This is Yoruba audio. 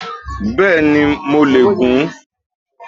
Bẹ́ẹ̀ni mo le è gun